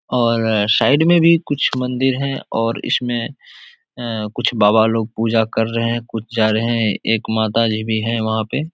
और साइड में भी कुछ मंदिर हैं और इसमें कुछ बाबा लोग पूजा कर रहे कुछ जा रहे एक माताजी भी है वहाँ पे।